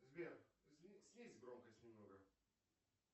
сбер снизь громкость немного